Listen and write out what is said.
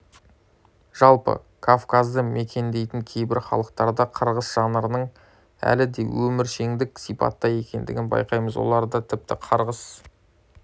жалпы кавказды мекендейтін кейбір халықтарда қарғыс жанрының әлі де өміршеңдік сипатта екендігін байқаймыз оларда тіпті қарғыс